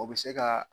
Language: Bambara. O bɛ se ka